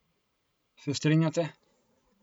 Se strinjate?